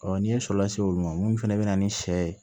n'i ye sɔ lase olu ma mun fɛnɛ be na ni sɛ ye